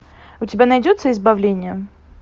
у тебя найдется избавление